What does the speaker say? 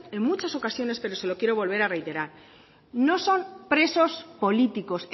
en muchas ocasiones pero se lo quiero reiterar no son presos políticos